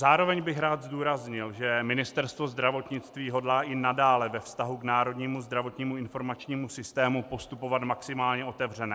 Zároveň bych rád zdůraznil, že Ministerstvo zdravotnictví hodlá i nadále ve vztahu k národnímu zdravotnímu informačnímu systému postupovat maximálně otevřeně.